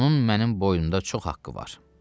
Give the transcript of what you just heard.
Onun mənim boynumda çox haqqı var.